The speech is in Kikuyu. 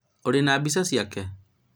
ũrĩ na mbia ciake?